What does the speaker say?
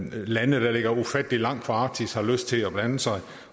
lande der ligger ufattelig langt fra arktis har lyst til at blande sig